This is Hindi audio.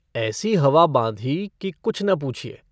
ऐसी हवा बाँधी कि कुछ न पूछिए।